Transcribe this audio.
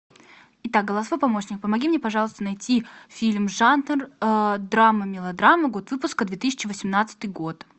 итак голосовой помощник помоги мне пожалуйста найти фильм жанр драма мелодрама год выпуска две тысячи восемнадцатый год